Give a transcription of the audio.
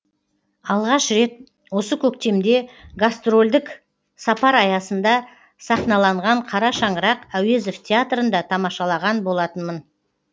алғаш рет осы көктемде гастрольдік сапар аясында сахналанған қара шаңырақ әуезов театрында тамашалаған болатынмын